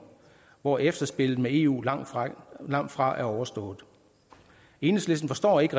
hvor efterspillet med eu langtfra langtfra er overstået enhedslisten forstår ikke